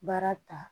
Baara ta